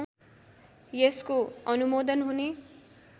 यसको अनुमोदन हुने